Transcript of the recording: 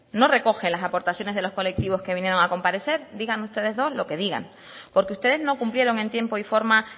no recoge las aportaciones de los colectivos que vinieron a comparecer digan ustedes dos lo que digan porque ustedes no cumplieron en tiempo y forma